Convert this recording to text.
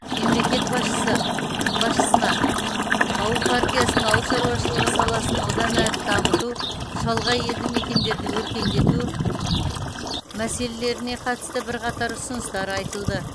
мемлекет басшысы басшысына ауыл партиясының ауыл шаруашылығы саласын одан әрі дамыту шалғай елді мекендерді өркендету мәселелеріне қатысты бірқатар ұсыныстар айтылды